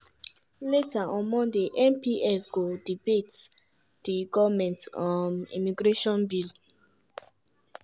later on monday mps go debate di goment um immigration bill.